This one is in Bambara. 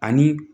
Ani